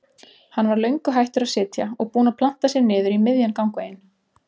Hann var löngu hættur að sitja og búinn að planta sér niður í miðjan gangveginn.